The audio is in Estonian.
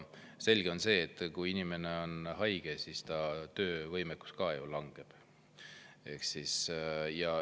Selge on see, et kui inimene on haige, siis ta töövõimekus ka ju langeb.